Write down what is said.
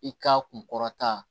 I ka kun kɔrɔta